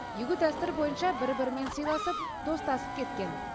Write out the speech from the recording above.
игі дәстүр бойынша бір бірімен сыйласып достасып кеткен